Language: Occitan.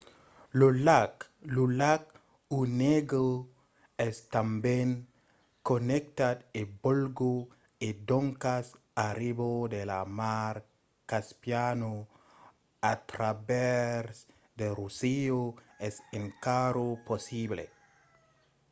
lo lac onega es tanben connectat a vòlga e doncas arribar de la mar caspiana a travèrs de russia es encara possible